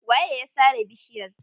Waye ya sare bishiyar?